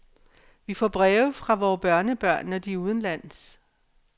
Vi får breve fra vore børnebørn, når de er udenlands.